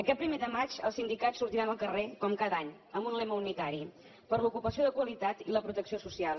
aquest primer de maig els sindicats sortiran al carrer com cada any amb un lema unitari per l’ocupació de qualitat i la protecció social